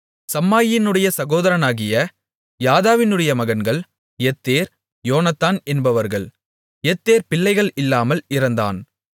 சம்மாயினுடைய சகோதரனாகிய யாதாவினுடைய மகன்கள் யெத்தெர் யோனத்தான் என்பவர்கள் யெத்தெர் பிள்ளைகள் இல்லாமல் இறந்தான்